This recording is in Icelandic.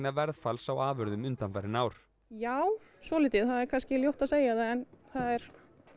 verðfalls á afurðum undanfarin ár já svolítið það er kannski ljótt að segja það en það er